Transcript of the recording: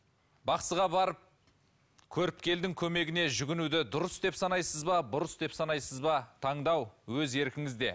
бақсыға барып көрікпелдің көмегіне жүгінуді дұрыс деп санайсыз ба бұрыс деп санайсыз ба таңдау өз еркіңізде